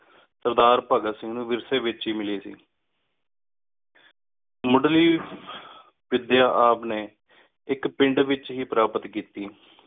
ਸਰਦਾ ਭਾਘਾਤ ਸਿੰਘ ਨੌ ਵਿਰ੍ਸ੍ਯ ਏਚ ਏ ਮਿਲੀ ਸੀ ਮੁੜ੍ਹ ਲੀ ਵਿਦ੍ਯਾ ਆਪ ਨੀ ਇਕ ਪਿੰਡ ਏਚ ਹੇ ਪ੍ਰਾਪਤ ਕੀਤੀ